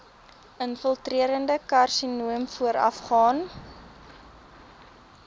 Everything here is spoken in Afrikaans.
infiltrerende karsinoom voorafgaan